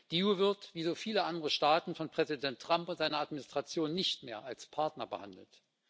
Die EU wird, wie so viele andere Staaten, von Präsident Trump und seiner Administration nicht mehr als Partner behandelt.